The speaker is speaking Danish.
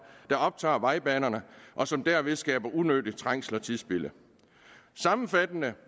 der optager vejbanerne og som derved skaber unødig trængsel og tidsspilde sammenfattende